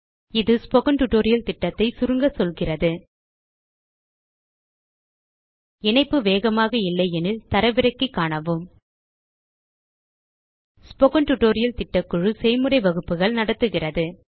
இது spoken tutorial திட்டத்தை சுருங்க சொல்கிறது இணைப்பு வேகமாக இல்லையெனில் தரவிறக்கி காணவும் ஸ்போக்கன் டியூட்டோரியல் திட்டக்குழு செய்முறை வகுப்புகள் நடத்துகிறது